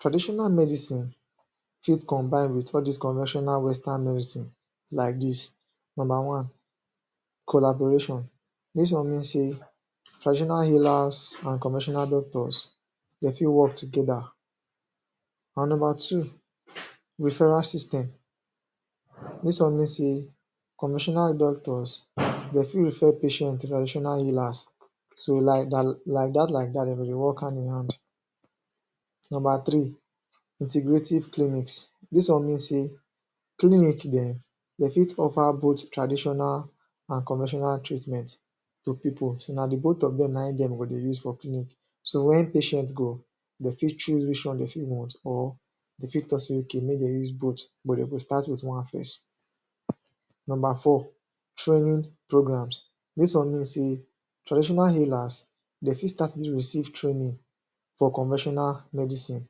Traditional medicine get combined with all dis coventional western medicine like dis, number one, collaboration dis one means say, traditional healers and conventional doctors dem fit work together and number two, referral system dis one mean say conventional doctors dem fit refer patient to traditional healers so, like dat like dat dem go dey work hand in hand. Number three, integrative clinics, dis one mean say clinic dem dem fit offer both traditional and conventional treatments to pipo so, na di both of dem na im dem go dey use for clinic so wen patient go, dem fit choose which one dem fit want or dem fit talk say ok make dem use both but dem fit start with one first. Number four, training programmes dis one mean say traditional healers dem fit start to dey receive trainings for conventional medicine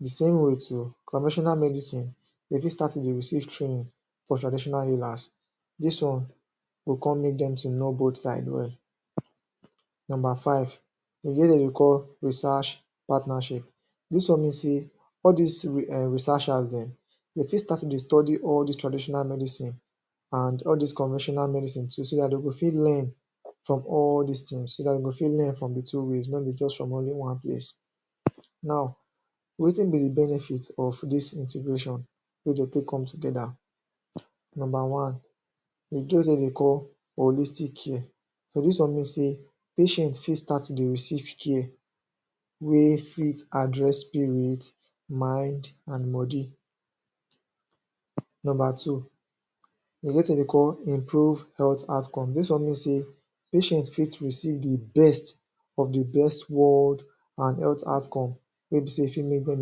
di same way too, conventional medicine dem fit start to dey receive training from traditional healers. Dis one, go come make dem to know both side well. Number five, dem get wetin dem dey call research partnership patnership dis one mean say, all dis um researchersn dem dem fit start to dey study all dis traditional medicine and all dis conventiional medicine so dat dem go fit learn from all dis things so dat dem go fit learn from di two ways no bi just from only one place. Now, wetin be di benefit of dis intergration wey dem go take come together? Number one, e get wetin dem dey call holistic care so, dis one mean say patient fit start to dey receive care wey fit address spirit mind and body. Number two e get wetin dem dey call improve health out come, dis one mean say patient fit receive di best of di best world and health outcome wey be say e fit make dem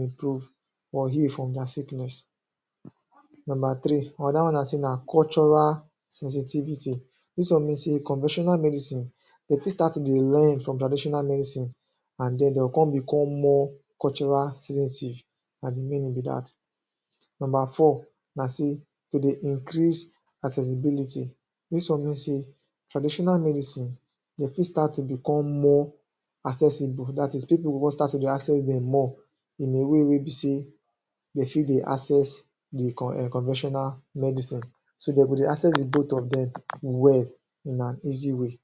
improve or heal from dia sickness Number three, dat one na cultural sensitivity dis one mean say, conventional medicine dem fit start to dey learn from traditional medicine and den dem go come become more cultural sensitive na di meaning be dat. Number four, na say, to dey increase accessibility dis one mean say traditional medicine dem fit start to become more accessible dat is people go come start to dey access dem more in a way wey be say dem fit dey access di um conventional medicine so, dem go dey access the both of dem well in an easy way.